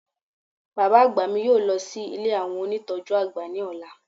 Bàbá àgbà mi yóò lọ sí ilé àwọn ónìtọ́jú àgbà ni ola